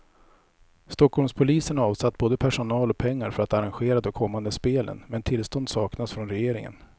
Stockholmspolisen har avsatt både personal och pengar för att arrangera de kommande spelen, men tillstånd saknas från regeringen.